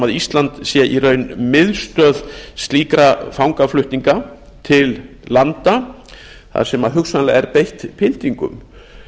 ísland sé í raun miðstöð slíkra fangaflutninga til landa þar sem hugsanlega er beitt pyntingum